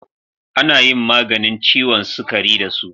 Ana yin maganin ciwon sukari da su.